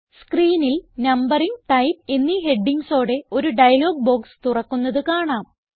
സ്ക്രീനിൽ numbering type എന്നീ headingsഓടെ ഒരു ഡയലോഗ് ബോക്സ് തുറക്കുന്നത് കാണാം